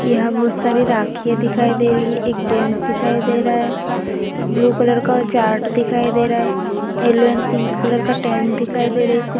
यहाँ बहोत सारी राखियाँ दिखाई दे रही है। एक जेन्ट्स दिखाई दे रहा है। ब्लू कलर का चार्ट दिखाई दे रहा है। यल्लो एंड पिंक कलर का टेंट दिखाई दे रही है कु --